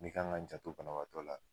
N' ka kan ka n janto banabaatɔ la.